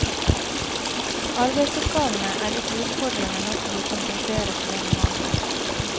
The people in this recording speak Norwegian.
Arbeidsoppgavene er ikke utfordrende nok til å kompensere for denne mangelen.